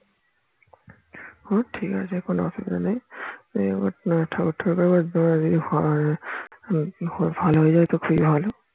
ও ঠিক আছে কোনো অসুবিধা নেই ঠাকুর ঠাকুর করে যদি ভালো হয় যাই তবে তো খুবই ভালো